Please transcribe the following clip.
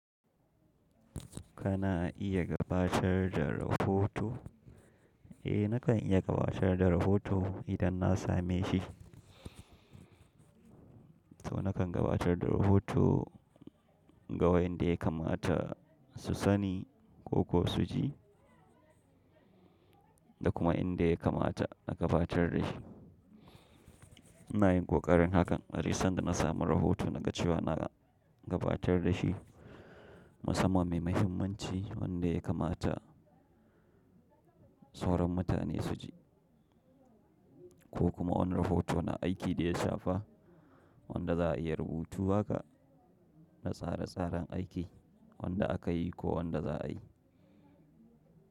Kana iya gabatar da rahoto? Eh nakan iya gabatar da rahoto idan na same shi. To nakan gabatar da rahoto ga wayanda ya kamata su sani ko kuwa su ji da kuma inda ya kamata na gabatar da shi. Ina yin ƙoƙarin hakan. Aduk sanda na samu rahoto na ga cewa na gabatar da shi musamman mai mahimmanci wanda ya kamata sauran mutane su ji ko kuma wani rahoto na aiki da ya shafa wanda za'a iya rubutu haka na tsare tsaran aiki wanda aka yi ko wanda za'a yi.